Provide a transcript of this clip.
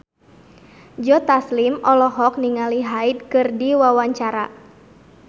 Joe Taslim olohok ningali Hyde keur diwawancara